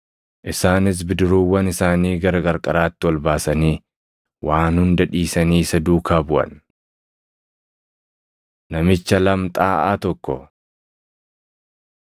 Isaanis bidiruuwwan isaanii gara qarqaraatti ol baasanii waan hunda dhiisanii isa duukaa buʼan. Namicha Lamxaaʼaa Tokko 5:12‑14 kwf – Mat 8:2‑4; Mar 1:40‑44